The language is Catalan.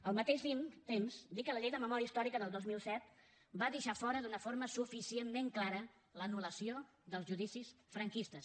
al mateix temps dir que la llei de memòria històrica del dos mil set va deixar fora d’una forma suficientment clara l’anul·lació dels judicis franquistes